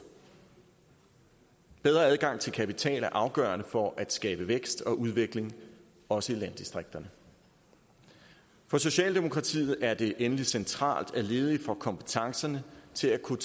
bedre adgang til kapital er afgørende for at skabe vækst og udvikling også i landdistrikterne for socialdemokratiet er det endelig centralt at ledige får kompetencerne til at kunne